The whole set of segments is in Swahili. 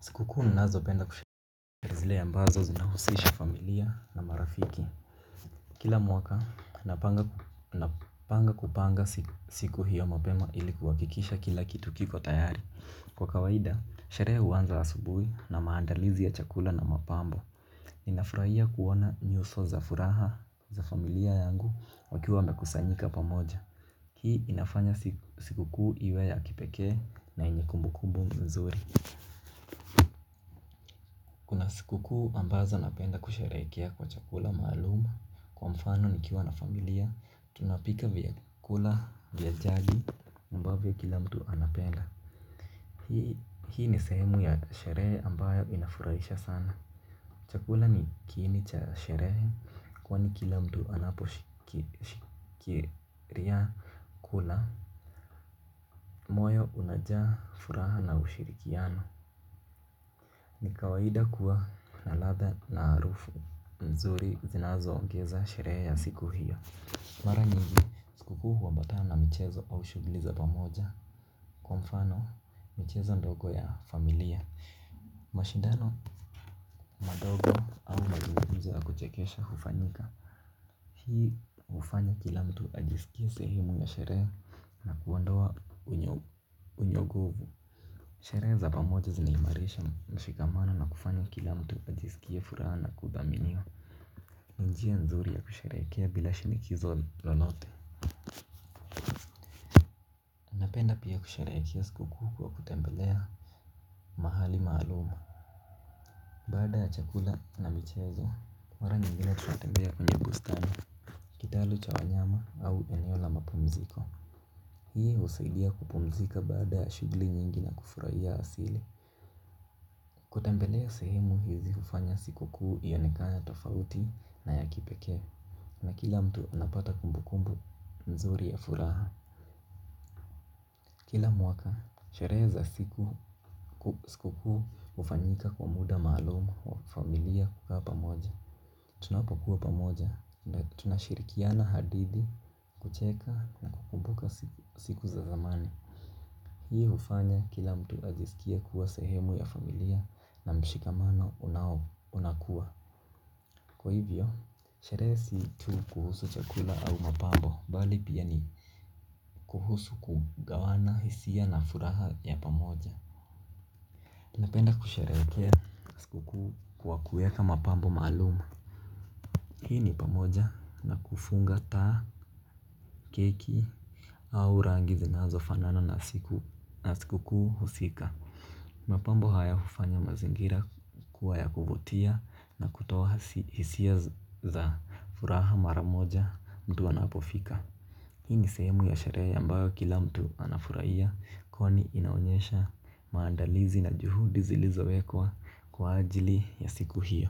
Sikukuu ninazopenda kusherehekea ni zile ambazo zinahusisha familia na marafiki. Kila mwaka napanga siku hiyo mapema ili kuhakikisha kila kitu kiko tayari. Kwa kawaida, sherehe huanza asubuhi na maandalizi ya chakula na mapambo. Ninafurahia kuona nyuso za furaha za familia yangu wakiwa wamekusanyika pamoja. Hii inafanya sikukuu iwe ya kipekee na yenye kumbukumbu nzuri. Sikukuu ambazo napenda kusherehekea kwa chakula maalum, kwa mfano nikiwa na familia, tunapika vyakula vya jadi ambavyo kila mtu anapenda. Hii ni sehemu ya sherehe ambayo inafurahisha sana. Chakula ni kiini cha sherehe kwani kila mtu anashiriki kula. Moyo unajaa furaha na ushirikiano. Ni kawaida kuwa na ladha na harufu nzuri zinazoongeza sherehe ya siku hiyo. Mara nyingi sikukuu huambatana na michezo au shughuli za pamoja. Kwa mfano, michezo midogo ya familia, mashindano madogo za kuchekesha hufanyika. Hii hufanya kila mtu ajisikia sehemu ya sherehe na kuondoa sherehe za pamoja zinaimarisha mshikamano na kufanya kila mtu ajisikie furaha na kudhaminiwa. Ni njia nzuri ya kusherehekea bila shinikizo lolote. Napenda pia kusherehekea sikukuu kwa kutembelea mahali maalum. Baada ya chakula na michezo, mara nyingine tunatembea kwenye bustani, kitalu cha wanyama au eneo la mapumziko. Hii husaidia kupumzika baada ya shughuli nyingi na kufurahia asili. Kutembelea sehemu hizi hufanya sikukuu ionekane tofauti na ya kipekee. Na kila mtu anapata kumbukumbu nzuri ya furaha. Kila mwaka, sherehe za sikukuu hufanyika kwa muda maalum wa familia kukaa pamoja. Tunapokuwa pamoja, tunashirikiana hadithi, kucheka na kukumbuka siku za zamani. Hii hufanya kila mtu ajisikie kuwa sehemu ya familia na mshikamano unakuwa. Kwa hivyo, sherehe si tu kuhusu chakula au mapambo tu, bali pia ni kuhusu kugawana hisia na furaha ya pamoja. Napenda kusherehekea sikukuu kwa kuweka mapambo maalum. Hii ni pamoja na kufunga taa, keki au rangi zinazofanana na siku husika. Mapambo haya hufanya mazingira kuwa ya kuvutia na kutoa hisia za furaha mara moja mtu anapofika. Hii ni sehemu ya sherehe ambayo kila mtu anafurahia kwani inaonyesha maandalizi na juhudi zilizowekwa kwa ajili ya siku hiyo.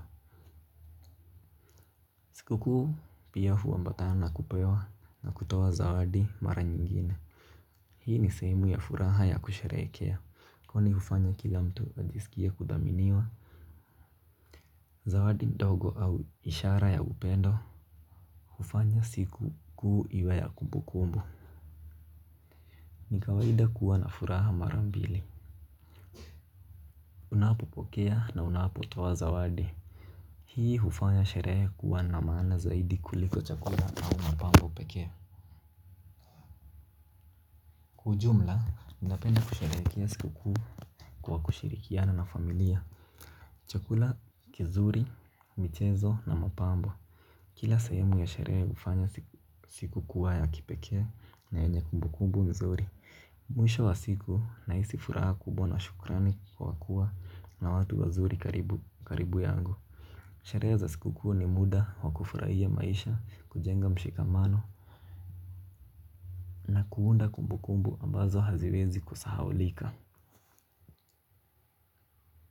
Huku pia huambatana na kupewa na kutoa zawadi mara nyingine. Hii ni sehemu ya furaha ya kusherehekea kwa kuwa hufanya kila mtu ajisikie kuthaminiwa. Zawadi ndogo au ishara ya upendo hufanya sikukuu iwe ya kumbukumbu. Ni kawaida kuwa na furaha mara mbili. Unapopokea na unapotoa zawadi. Hii hufanya sherehe kuwa na maana zaidi kuliko chakula au mapambo peke yake. Ujumla, ninapenda kusherehekea siku kwa kushirikiana na familia. Chakula kizuri, michezo na mapambo kila sehemu ya sherehe hufanya siku kuwa ya kipekee na yenye kumbukumbu nzuri. Mwisho wa siku nahisi furaha kubwa na shukrani kwa kuwa na watu wazuri karibu yangu. Sherehe za sikukuu ni muda wa kufurahia maisha, kujenga mshikamano na kuunda kumbukumbu ambazo haziwezi kusahaulika.